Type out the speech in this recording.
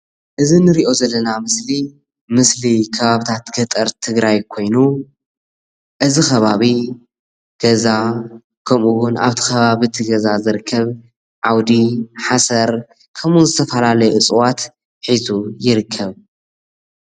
እዚ እንሪኦ ዘለና ምስሊ ምስሊ ከባቢታት ገጠር ትግራይ ኮይኑ እዚ ከባቢ ገዛ ከምኡ እውን ኣብቲ ከባቢ እቲ ገዛ ዝርከብ ዓውዲ፣ ሓሰር ከምኡ እውን ዝተፈላለዩ እፅዋት ሒዙ ይርከብ፡፡